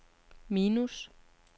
minus